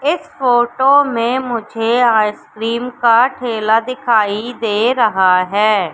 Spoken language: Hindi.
इस फोटो में मुझे आइसक्रीम का ठेला दिखाई दे रहा है।